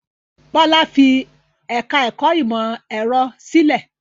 Bọ́lá fi ẹ̀ka-ẹ̀kọ́ ìmọ̀-ẹ̀rọ sílẹ̀?